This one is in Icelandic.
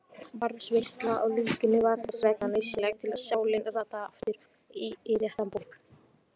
Varðveisla á líkinu var þess vegna nauðsynleg til að sálin rataði aftur í réttan búk.